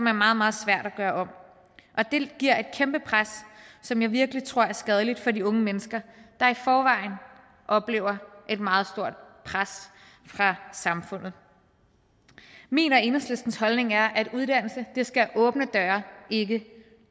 er meget meget svært at gøre om og det giver et kæmpe pres som jeg virkelig tror er skadeligt for de unge mennesker der i forvejen oplever et meget stort pres fra samfundet min og enhedslistens holdning er at uddannelse skal åbne døre og ikke